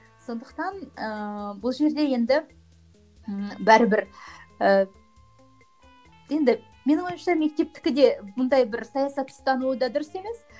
сондықтан ыыы бұл жерде енді м бәрібір ііі енді менің ойымша мектептікі де мұндай бір саясатты ұстануы да дұрыс емес